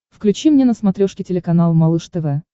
включи мне на смотрешке телеканал малыш тв